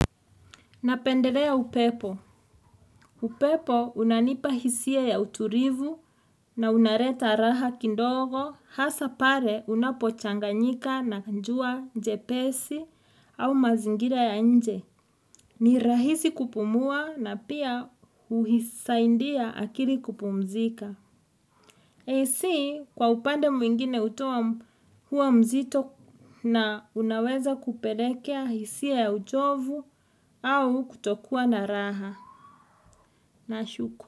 Napendelea upepo. Upepo unanipa hisia ya uturivu na unareta raha kindogo hasa pare unapochanganyika na njua njepesi au mazingira ya nje. Ni rahisi kupumua na pia huhisaindia akili kupumzika. Heisi kwa upande mwingine utoa huwa mzito na unaweza kuperekea hisia ya uchovu au kutokuwa na raha. Na shuku.